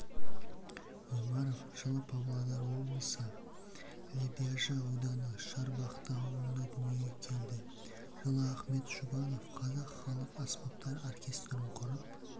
омаров жылы павлодар облысы лебяжі ауданы шарбақты ауылында дүниеге келді жылыахмет жұбанов қазақ халық аспаптар оркестрінқұрып